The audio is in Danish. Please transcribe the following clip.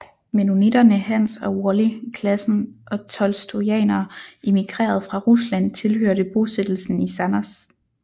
Mennonitterne Hans og Wally Klassen og tolstojanere emigreret fra Rusland tilhørte bosættelsen i Sannerz